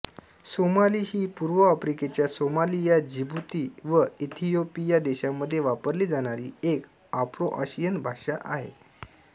Somali ही पूर्व आफ्रिकेच्या सोमालिया जिबूती व इथियोपिया देशांमध्ये वापरली जाणारी एक आफ्रोआशियन भाषा आहे